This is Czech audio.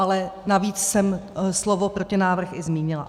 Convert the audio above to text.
Ale navíc jsem slovo protinávrh i zmínila.